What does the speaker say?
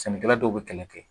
Sɛnɛkɛla dɔw bɛ kɛlɛ kɛ